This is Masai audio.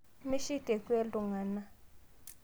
Mishik tekwe ltung'ana